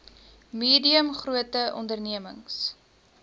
medium grote ondememings